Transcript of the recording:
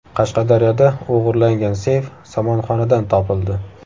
Qashqadaryoda o‘g‘irlangan seyf somonxonadan topildi.